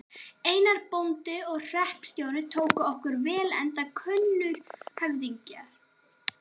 Einar, bóndi og hreppstjóri, tók okkur vel enda kunnur höfðingi.